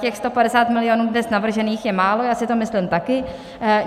Těch 150 milionů dnes navržených je málo, já si to myslím taky.